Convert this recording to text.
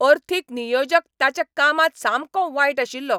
अर्थीक नियोजक ताच्या कामांत सामको वायट आशिल्लो.